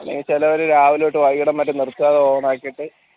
അല്ലെങ്കിലും ചെലവര് രാവിലെ തൊട്ട് വൈകുന്നേരം വരെ നിർത്താണ്ട് on ക്കിയിട്ടിട്ട്